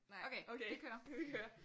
Okay vi kører